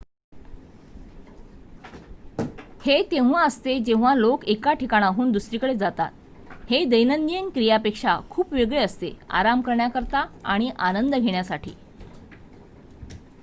हे तेव्हा असते जेव्हा लोक एका ठिकाणाहून दुसरीकडे जातात हे दैनंदिन क्रियांपेक्षा खूप वेगळे असते आराम करण्याकरिता आणि आनंद घेण्यासाठी